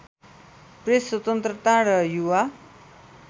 press स्वतन्त्रता र युवा